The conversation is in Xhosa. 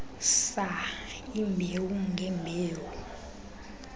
saa iimbewu ngeembewu